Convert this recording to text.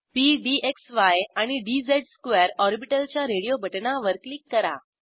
P D क्सी आणि D Z square orbital च्या रेडिओ बटणावर क्लिक करा